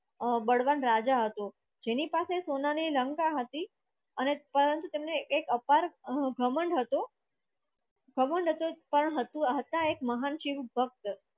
અ બળવાન રાજા હતો જાની પાસે સોના ની લંકા હતી અને એક અપાર ઘમંડ હતો ઘમંડ હતો એક હતા મહાન શિવ ભક્ત હતા